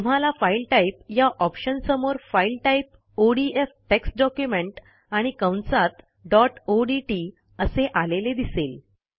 तुम्हाला file type या ऑप्शनसमोर file type ODF text document आणि कंसात डॉट ओडीटी असे आलेले दिसेल